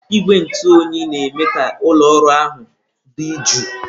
Igwe ntụ oyi na-eme ka ụlọ ọrụ ahụ dị jụụ.